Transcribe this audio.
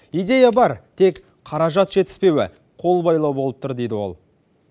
идея бар тек қаражат жетіспеуі қолбайлау болып тұр дейді ол